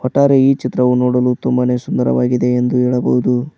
ಒಟ್ಟಾರೆ ಈ ಚಿತ್ರವನ್ನು ನೋಡಲು ತುಂಬಾನೇ ಸುಂದರವಾಗಿದೆ ಎಂದು ಹೇಳಬಹುದು.